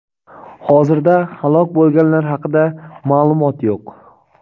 Hozirda halok bo‘lganlar haqida maʼlumot yo‘q.